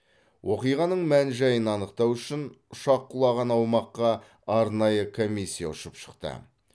оқиғаның мән жайын анықтау үшін ұшақ құлаған аумаққа арнайы комиссия ұшып шықты